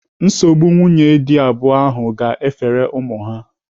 Nsogbu nwunye dị abụọ ahụ ga-efere ụmụ ha.